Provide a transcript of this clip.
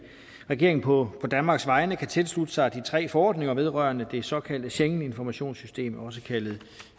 regeringen på danmarks vegne kan tilslutte sig de tre forordninger vedrørende det såkaldte schengeninformationssystem også kaldet